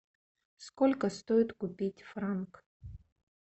сколько стоит купить франк